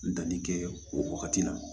N danni kɛ o wagati la